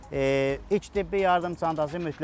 İlk tibbi yardım çantası mütləqdir.